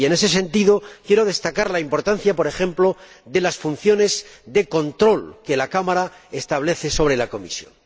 En ese sentido, quiero destacar la importancia, por ejemplo, de las funciones de control que la Cámara ejerce sobre la Comisión.